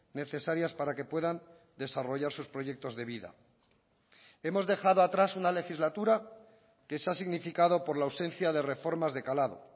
necesarias para que puedan desarrollar sus proyectos de vida hemos dejado atrás una legislatura que se ha significado por la ausencia de reformas de calado